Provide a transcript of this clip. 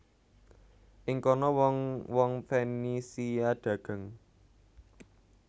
Ing kana wong wong Fenisia dagang